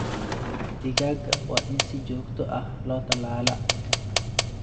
Digaagga waa in si joogto ah loo tallaalaa.